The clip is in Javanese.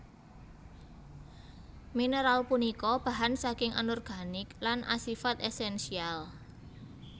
Mineral punika bahan saking Anorganik lan asifat esensial